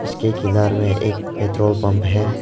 उसके किनारे में एक पेट्रोल पंप है।